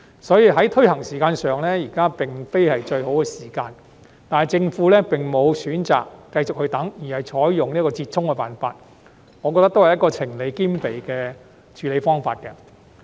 因此，在推行時間上，現在並非最佳時機，但政府並沒有選擇等待，而是採用這個折衷的辦法，我認為這也是情理兼備的處理方式。